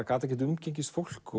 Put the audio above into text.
gat ekkert umgengist fólk